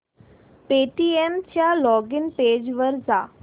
Paytm च्या login page वर जा